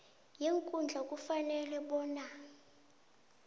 yeenkhundla ifanele bona